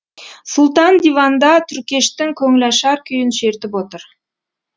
сұлтан диванда түркештің көңілашар күйін шертіп отыр